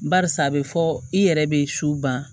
Barisa a bɛ fɔ i yɛrɛ bɛ su ban